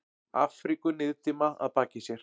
Afríku niðdimma að baki sér.